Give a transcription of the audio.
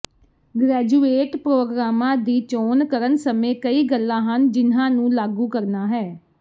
graduate ਪ੍ਰੋਗਰਾਮਾਂ ਦੀ ਚੋਣ ਕਰਨ ਸਮੇਂ ਕਈ ਗੱਲਾਂ ਹਨ ਜਿਨ੍ਹਾਂ ਨੂੰ ਲਾਗੂ ਕਰਨਾ ਹੈ